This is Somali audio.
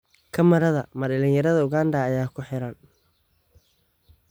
Kumarada: Ma dhalinyarada Uganda ayaa ku xiran?